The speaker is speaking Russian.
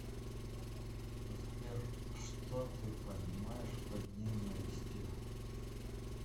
сбер что ты понимаешь под ненавистью